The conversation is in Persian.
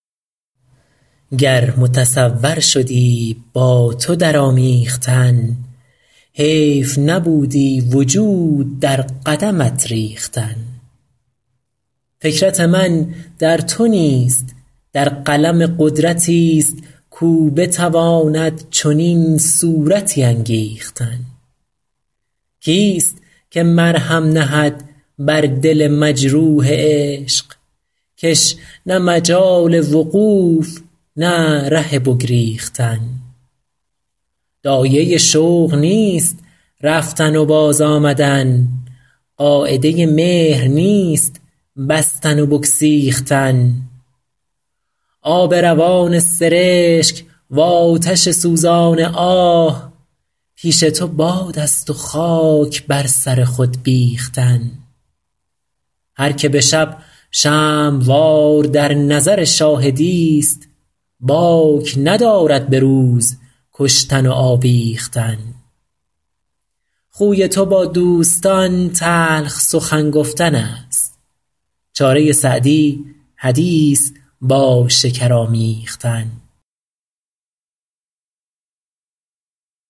گر متصور شدی با تو در آمیختن حیف نبودی وجود در قدمت ریختن فکرت من در تو نیست در قلم قدرتی ست کاو بتواند چنین صورتی انگیختن کی ست که مرهم نهد بر دل مجروح عشق که ش نه مجال وقوف نه ره بگریختن داعیه شوق نیست رفتن و باز آمدن قاعده مهر نیست بستن و بگسیختن آب روان سرشک وآتش سوزان آه پیش تو باد است و خاک بر سر خود بیختن هر که به شب شمع وار در نظر شاهدی ست باک ندارد به روز کشتن و آویختن خوی تو با دوستان تلخ سخن گفتن است چاره سعدی حدیث با شکر آمیختن